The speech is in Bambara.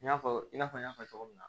I n'a fɔ i n'a fɔ n y'a fɔ cogo min na